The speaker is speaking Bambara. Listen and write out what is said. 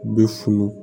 U bɛ funu